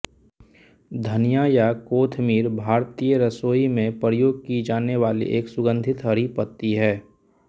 धनिया या कोथमीर भारतीय रसोई में प्रयोग की जाने वाली एक सुंगंधित हरी पत्ती है